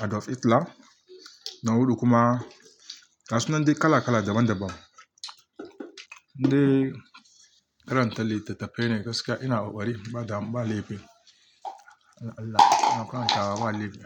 "Art of Islam", na huɗu kuma, na suna na su kala kala daban daban. Indai karanta littattafai ne gaskiya ina kokari ba dam, ba laifi. Allah, ina karantawa ba laifi.